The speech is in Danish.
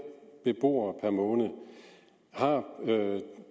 beboere per måned har